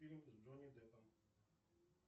фильм с джонни деппом